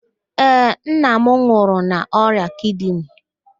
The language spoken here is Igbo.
Ee, nna m nwụrụ n'ọrịa kidini